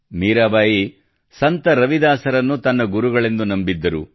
ಮೀರಾಬಾಯಿ ಸಂತ ರವಿದಾಸರನ್ನು ತನ್ನ ಗುರುಗಳೆಂದು ನಂಬಿದ್ದರು